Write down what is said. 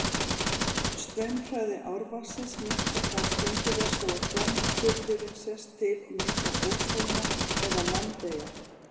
Straumhraði árvatnsins minnkar þar skyndilega svo að framburðurinn sest til og myndar óshólma eða landeyjar.